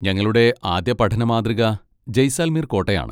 ഞങ്ങളുടെ ആദ്യ പഠന മാതൃക ജയ്സാൽമീർ കോട്ടയാണ്.